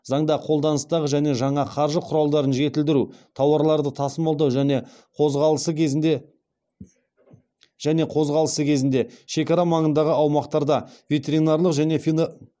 заңда қолданыстағы және жаңа қаржы құралдарын жетілдіру тауарларды тасымалдау және қозғалысы кезінде шекара маңындағы аумақтарда ветеринарлық және